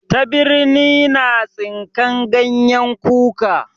Tabirni na tsinkan ganyen kuka.